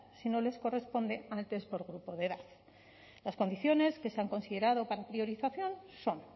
si no les corresponde antes por grupo de edad las condiciones que se han considerado para priorización son